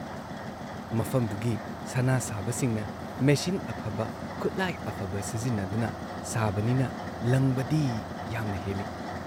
ꯃꯐꯝꯗꯨꯒꯤ ꯁꯅꯥ ꯁꯥꯕꯁꯤꯡꯅ ꯃꯦꯆꯤꯟ ꯑꯐꯕ, ꯈꯨꯠꯂꯥꯏ ꯑꯐꯕ ꯁꯤꯖꯤꯟꯅꯗꯨꯅ ꯁꯥꯕꯅꯤꯅ ꯂꯪꯕꯗꯤ ꯌꯥꯝꯅ ꯍꯦꯜꯂꯤ ꯫